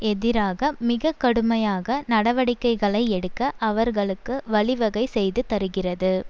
எதிராக மிக கடுமையாக நடவடிக்கைகளை எடுக்க அவர்களுக்கு வழிவகை செய்து தருகிறது